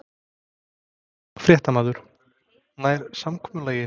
Fréttamaður: Nær samkomulagið?